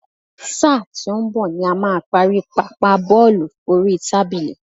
Sáà tí ó ń bọ̀ ni a máa parí Pápá bọ́ọ̀lù oríi tábìlì.